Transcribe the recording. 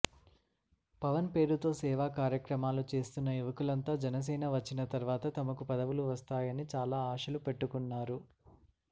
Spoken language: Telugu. పవన్ పేరుతో సేవా కార్యక్రమాలు చేస్తున్న యవకులంతా జనసేన వచ్చిన తర్వాత తమకు పదవులు వస్తాయని చాలా ఆశలు పెట్టుకున్నారు